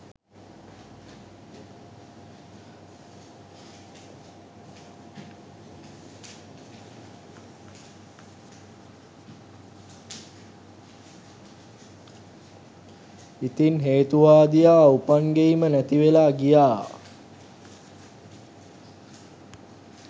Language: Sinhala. ඉතින් හේතුවාදියා උපන් ගෙයිම නැති වෙලා ගියා